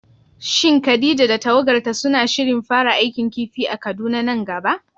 Shin Khadija da tawagarta suna shirin fara aikin kifi a Kaduna nan gaba?